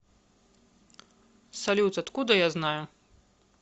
салют откуда я знаю